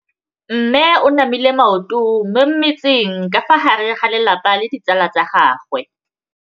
Mme o namile maoto mo mmetseng ka fa gare ga lelapa le ditsala tsa gagwe.